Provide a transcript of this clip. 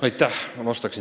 Aitäh!